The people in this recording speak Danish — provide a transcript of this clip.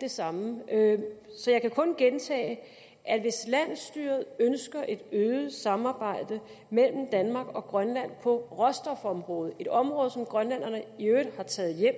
det samme så jeg kan kun gentage at hvis landsstyret ønsker et øget samarbejde mellem danmark og grønland på råstofområdet et område som grønlænderne i øvrigt har taget hjem